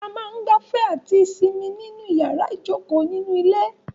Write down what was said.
A máa ń gbafẹ́ àti sinmi ní inú yàrá ìjokòó nínú ilé.